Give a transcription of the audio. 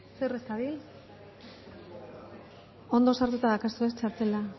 zer ez dabil ondo sartuta daukazu ez txartela